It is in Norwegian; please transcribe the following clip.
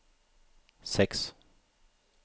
seks